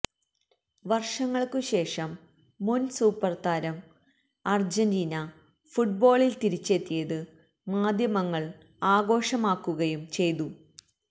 വര്ഷങ്ങള്ക്കുശേഷം മുന് സൂപ്പര്താരം അര്ജന്റീന ഫുട്ബോളില് തിരിച്ചെത്തിയത് മാധ്യമങ്ങള് ആഘോഷമാക്കുകയും ചെയ്തു